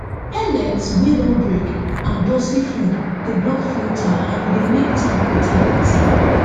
pellets wey don break and dusty food dey block filter and e dey make tank water dirty